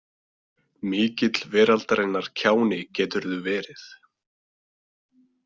Mikill veraldarinnar kjáni geturðu verið.